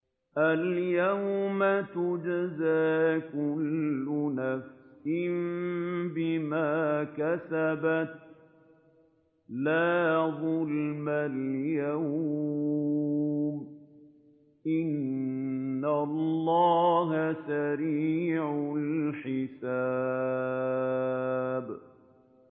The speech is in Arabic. الْيَوْمَ تُجْزَىٰ كُلُّ نَفْسٍ بِمَا كَسَبَتْ ۚ لَا ظُلْمَ الْيَوْمَ ۚ إِنَّ اللَّهَ سَرِيعُ الْحِسَابِ